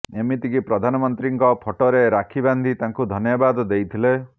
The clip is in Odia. ଏମିତିକି ପ୍ରଧାନମନ୍ତ୍ରୀଙ୍କ ଫଟୋରେ ରାକ୍ଷୀ ବାନ୍ଧି ତାଙ୍କୁ ଧନ୍ୟବାଦ ଦେଇଥିଲେ